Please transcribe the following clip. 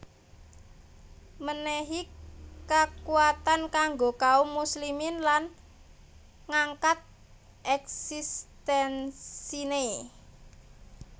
Mènèhi kakuatan kanggo kaum muslimin lan ngangkat eksistensiné